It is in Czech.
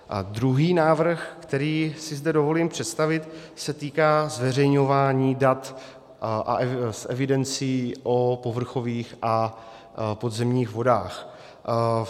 A druhý návrh, který si zde dovolím představit, se týká zveřejňování dat z evidencí o povrchových a podzemních vodách.